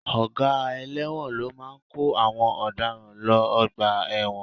Ọ̀gá ẹlẹ́wọ̀n ló máa kó àwọn ọ̀daràn lọ ọgbà ẹ̀wọ̀n